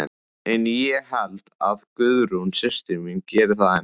En ég held að Guðrún systir mín geri það enn.